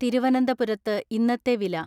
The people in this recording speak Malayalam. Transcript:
തിരുവനന്തപുരത്ത് ഇന്നത്തെ വില.